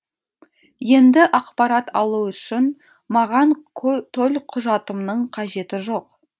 енді ақпарат алу үшін маған төлқұжатымның қажеті жоқ